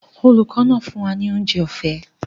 Olùkọ́ náà fún wa ní oúnjẹ ọ̀fẹ́